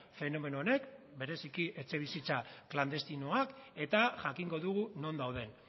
fenomeno honek bereziki etxebizitza klandestinoak eta jakingo dugu non dauden